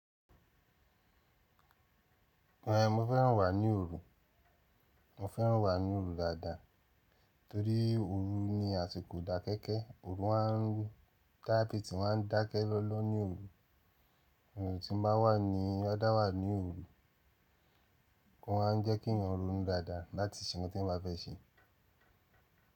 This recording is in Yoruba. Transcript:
Ehn mo fẹ́ràn wà ní òru, mo fẹ́ràn wà ní òru dada. Torí òru ni àsìkò dàkẹ́kẹ́, òru a ń rú, táì pì tí wọ́n ń dákẹ́ lọlọ ní òru, ohùn tí mo bá wà ní ọdá wà ní òru, ó máa ń jẹ́ kí ènìyàn ronu dáadáa láti ṣe ohun teyan bá fẹ́ ṣe.